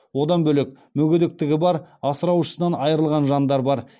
одан бөлек мүгедектігі бар асыраушысынан айырылған жандар бар